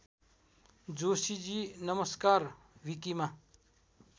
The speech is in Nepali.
जोशीजी नमस्कार विकिमा